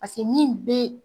Pase min be